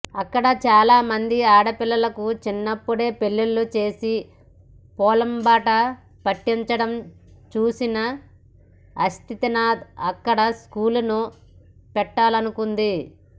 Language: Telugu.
అక్కడ చాలామంది ఆడపిల్లలకు చిన్నప్పుడే పెళ్లిళ్లు చేసి పొలంబాట పట్టించడం చూసిన ఆశితనాథ్ అక్కడ స్కూల్ను పెట్టాలనుకుంది